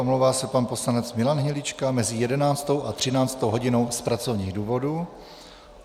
Omlouvá se pan poslanec Milan Hnilička mezi 11. a 13. hodinou z pracovních důvodů.